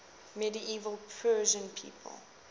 medieval persian people